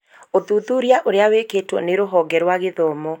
Ũthuthuria ũrĩa wĩkĩtwo nĩ rũhonge rwa gĩthomo.